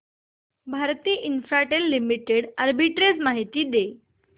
Bharti Infratel limited arbitrage माहिती दे